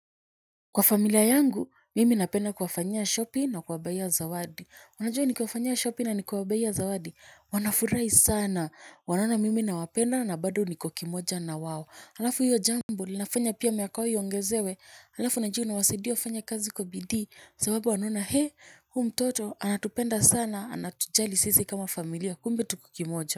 Kwa familia yangu mimi napenda kuwafaniya shopping na kuwabaiya zawadi wanajua nikiwafanyia shopping na nikiwabaiya zawadi wanafurai sana wanaona mimi na wapenda na bado niko kimoja na wao alafu hiyo jambo li nafanya pia miaka yao iongezewe alafu najua ina wasaidia wafanya kazi kwa bidii sababu wanaona hee huu mtoto anatupenda sana anatujali sisi kama familia kumb tuko kimoja.